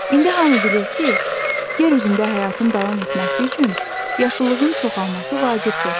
İndi hamı bilir ki, yer üzündə həyatın davam etməsi üçün yaşıllığın çoxalması vacibdir.